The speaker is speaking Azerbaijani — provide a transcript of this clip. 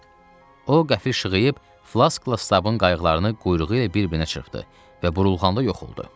O qəfil şığıyıb Flaskla Stabın qayıqlarını quyruğu ilə bir-birinə çırpdı və burulğanda yox oldu.